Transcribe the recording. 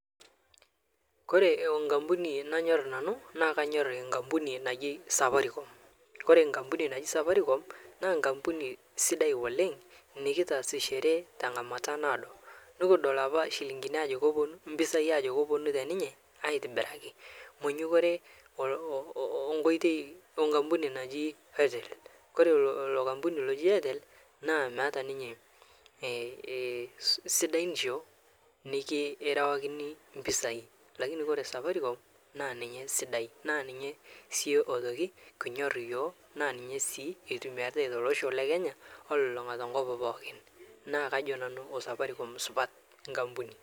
Ore enkampuni nanyor nanu naa enkampuni naji Safaricom. Ore enkampuni naji Safaricom naa enkampuni sidai oleng nikitaasishore tenkata naado nikidol ajo ore iropiyiani te ninye naa keponu aitobiraki nepaasha oleng wenkampuni naji Airtel amu meeta ninche sidanisho {lakini} ore safaricom, naa ninye esidai naa ninye sii aitoki kinyorr yook naa ninye sii eitumitumiai tolosho lekenya o tenkop pookin naa kajo Nanu Safaricom supati enkampuni.